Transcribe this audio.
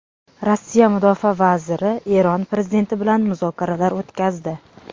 Rossiya Mudofaa vaziri Eron prezidenti bilan muzokaralar o‘tkazdi.